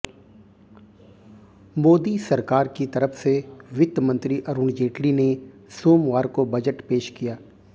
मोदी सरकार की तरफ से वित्तमंत्री अरुण जेटली ने सोमवार को बजट पेश किया